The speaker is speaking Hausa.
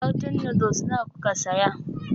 Karton noodles nawa kuka saya?